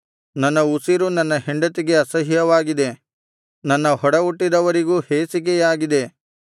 ನನ್ನ ಉಸಿರು ನನ್ನ ಹೆಂಡತಿಗೆ ಅಸಹ್ಯವಾಗಿದೆ ನನ್ನ ಒಡಹುಟ್ಟಿದವರಿಗೂ ಹೇಸಿಕೆಯಾಗಿದ್ದೇನೆ